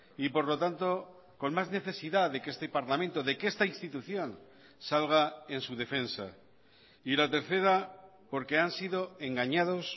y por lo tanto con más necesidad de que este parlamento de que esta institución salga en su defensa y la tercera porque han sido engañados